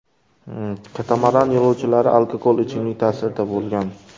Katamaran yo‘lovchilari alkogol ichimlik ta’sirida bo‘lgan.